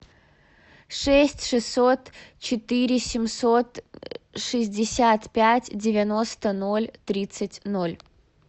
шесть шестьсот четыре семьсот шестьдесят пять девяносто ноль тридцать ноль